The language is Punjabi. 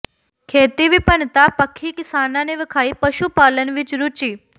ਖੇਤੀ ਵਿਭਿੰਨਤਾ ਪੱਖੀ ਕਿਸਾਨਾਂ ਨੇ ਵਿਖਾਈ ਪਸ਼ੂ ਪਾਲਣ ਵਿੱਚ ਰੁਚੀ